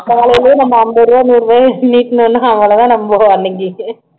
காலையிலயே அம்பது ரூபா நூறு ரூபாய நீட்டுனோன்னா அவ்வளவு தான் நம்ம அன்னைக்கு